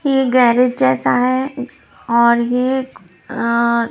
ये गैरेज जैसा है और एक अ--